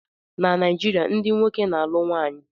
Na Naijiria, ndị nwoke na-alụ nwanyị.